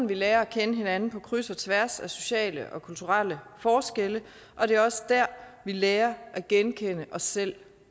vi lærer at kende hinanden på kryds og tværs af sociale og kulturelle forskelle og det er også der vi lærer at genkende os selv